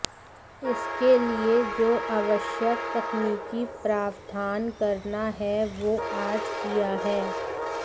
इसके लिए जो आवश्यक तकनीकी प्रावधान करना है वो आज किया है